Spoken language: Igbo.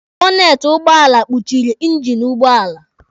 Bọteti ụgbọala kpuchịrị ingini ụgbọala.